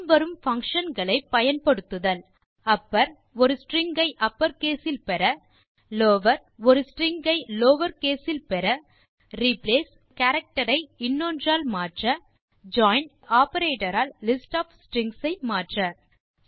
பின் வரும் பங்ஷன்ஸ் ஐ பயன்படுத்துதல் upper ஒரு ஸ்ட்ரிங் ஐ அப்பர் கேஸ் இல் பெற lower ட் ஒரு ஸ்ட்ரிங் ஐ லவர் கேஸ் இல் பெற replace ஒரு கேரக்டர் ஐ இன்னொன்றால் மாற்ற join tஒரு ஆப்பரேட்டர் ஆல் லிஸ்ட் ஒஃப் ஸ்ட்ரிங்ஸ் ஐ மாற்ற